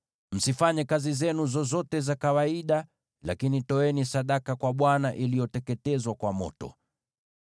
Msifanye kazi zenu zozote za kawaida, lakini toeni sadaka kwa Bwana iliyoteketezwa kwa moto.’ ”